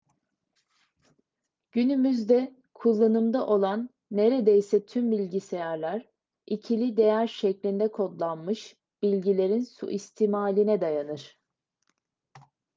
günümüzde kullanımda olan neredeyse tüm bilgisayarlar ikili değer şeklinde kodlanmış bilgilerin suistimaline dayanır